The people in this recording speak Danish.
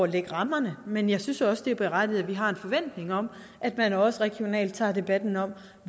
lægge rammerne men jeg synes også det er berettiget at vi har en forventning om at man også regionalt tager debatten om